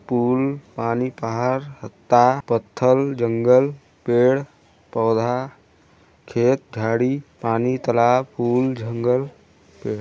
pool पानी पहार हत्ता पत्थर जंगल पेड़ पौधा खेत झाड़ी पानी तालाब पूल जंगल --